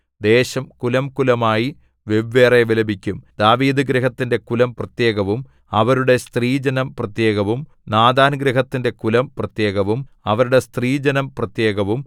ദേശം കുലംകുലമായി വെവ്വേറെ വിലപിക്കും ദാവീദുഗൃഹത്തിന്റെ കുലം പ്രത്യേകവും അവരുടെ സ്ത്രീജനം പ്രത്യേകവും നാഥാൻഗൃഹത്തിന്റെ കുലം പ്രത്യേകവും അവരുടെ സ്ത്രീജനം പ്രത്യേകവും